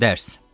Dərs.